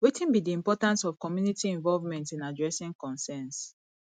wetin be di importance of community involvement in addressing concerns